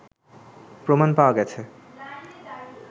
প্রমাণ পাওয়া গেছে